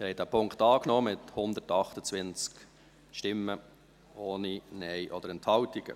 Sie haben diesen Punkt angenommen, mit 128 Stimmen, ohne Nein-Stimmen oder Enthaltungen.